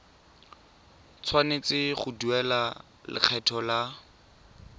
tshwanetse go duela lekgetho la